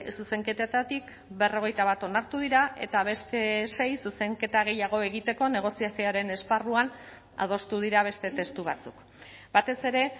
zuzenketetatik berrogeita bat onartu dira eta beste sei zuzenketa gehiago egiteko negoziazioaren esparruan adostu dira beste testu batzuk batez ere